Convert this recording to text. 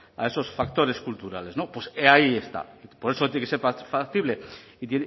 a esos factores culturales no pues ahí está por eso tiene que ser factible y